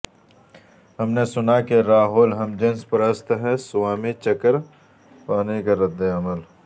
ہم نے سنا کہ راہول ہم جنس پرست ہیں سوامی چکراپانی کا رد عمل